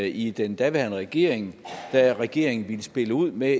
i den daværende regering da regeringen ville spille ud med